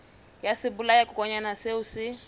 ya sebolayakokwanyana seo o se